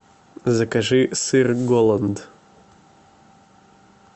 закажи сыр голланд